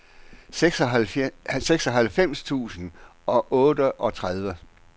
seksoghalvfems tusind og otteogtredive